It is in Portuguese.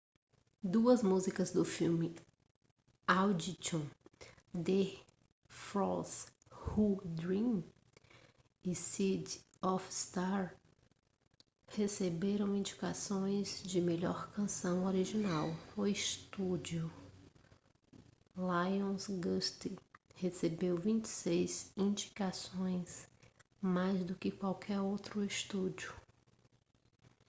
duas músicas do filme audition the fools who dream e city of stars receberam indicações de melhor canção original. o estúdio lionsgate recebeu 26 indicações - mais do que qualquer outro estúdio